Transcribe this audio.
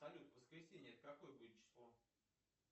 салют воскресенье это какое будет число